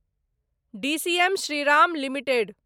DCM Shriram limited